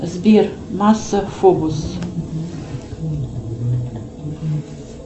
сбер масса фобос